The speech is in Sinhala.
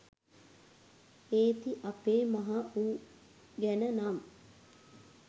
ඒති අපෙ මහ උ ගැන නම්